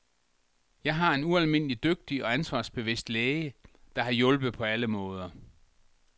Jeg har en ualmindelig dygtig og ansvarsbevidst læge, der har hjulpet på alle måder.